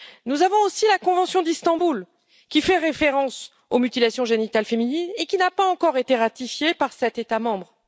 Nous avons aussi la convention d'Istanbul, qui fait référence aux mutilations génitales féminines et qui n'a pas encore été ratifiée par sept États membres.